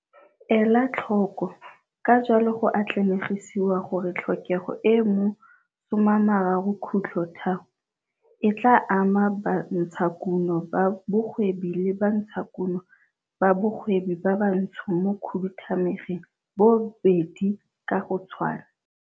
Ela tlhoko - Ka jalo go atlanegisiwa gore tlhokego e e mo 13.3, e tlaa ama bantshakuno ba bogwebi le bantshakuno ba bogwebi ba bantsho mo Khuduthamageng boobedi ka go tshwana.